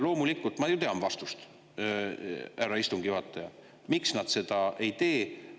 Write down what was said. Loomulikult ma ju tean vastust, härra istungi juhataja, miks nad seda ei tee.